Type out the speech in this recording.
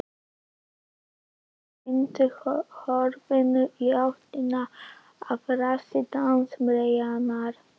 Sturlu og hnykkti höfðinu í áttina að rassi dansmeyjarinnar.